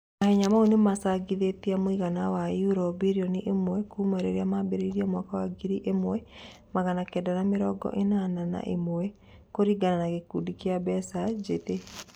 Mahenya maũ nĩ macangithĩtie mũigana wa yuro birioni ĩmwe kuuma rĩrĩa mambirie mwaka wa ngiri ĩmwe magana kenda ma-mirongo ĩnana na ĩmwe, kũringana na gĩkundi kĩa Mbeca Njĩthĩ.